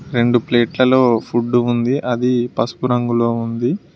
రెండు ప్లేట్లలో ఫుడ్ ఉంది అది పసుపు రంగులో ఉంది.